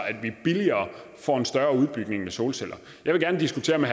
at vi billigere får en større udbygning med solceller jeg vil gerne diskutere med